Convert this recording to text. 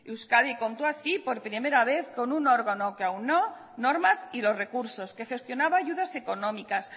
euskadi contó así por primera vez con un órgano que aunó normas y los recursos que gestionaba ayudas económicas